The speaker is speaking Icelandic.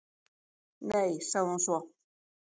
"""Nei, sagði hún svo."""